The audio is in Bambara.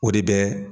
O de bɛ